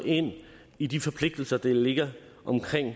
i de forpligtelser der ligger omkring